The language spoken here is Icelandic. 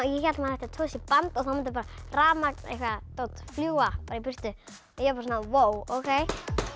ég hélt að ætti að tosa í band og þá mundi rafmagn eitthvað dót fljúga í burtu ég bara svona vó ókei